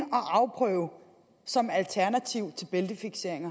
afprøve som alternativ til bæltefiksering